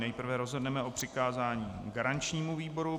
Nejprve rozhodneme o přikázání garančnímu výboru.